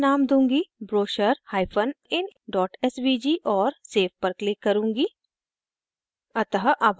इस समय मैं name दूंगी brochurein svg और save पर click करुँगी